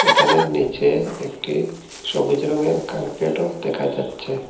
এখানে নীচে একটি সবুজ রঙের কার্পেটও দেখা যাচ্ছে।